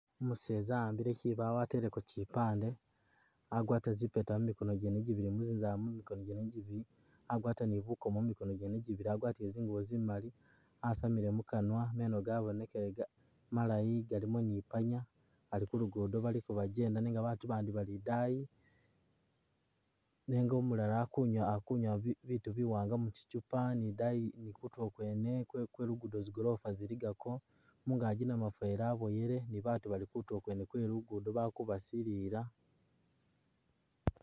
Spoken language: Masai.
Umuseza awambile kibaawo ateleko kipande, agwatile zipeta mumikono gyene gibili muzunzanzala mu mikono gyene gibili agwata ni bukoomo mu mikono gyene gibili, agwatile zingubo zimaali asamile mukanwa meno gabonekile malayi galimo ni ipaanya ali ku lugudo baliko bagyenda nenga babandi bali idaayi nenga umulala ali kunywa ali kunywa bi bitu biwaanga mu kikupa ni idaayi ni kutulo kwene kwe kwe luguudo zigolofa ziligako. Mungaagi namufweli aboyile ni baatu bali kutulo kwe lugudo bali kubasilila.